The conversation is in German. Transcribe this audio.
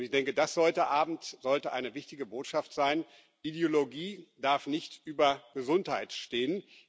Ich denke, das sollte eine wichtige Botschaft sein Ideologie darf nicht über Gesundheit stehen.